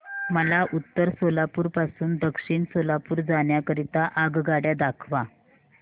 मला उत्तर सोलापूर पासून दक्षिण सोलापूर जाण्या करीता आगगाड्या दाखवा